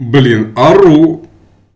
блин ору